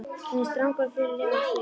Hann er strangur og föður legur á svip.